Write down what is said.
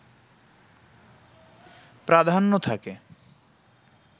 প্রাধান্য থাকে